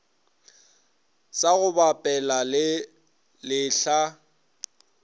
sa go bapela le lehlaa